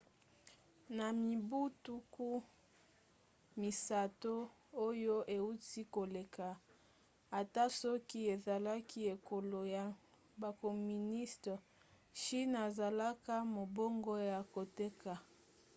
na mibu tuku misato oyo euti koleka ata soki ezalaki ekolo ya bacommuniste chine asalaki mombongo ya koteka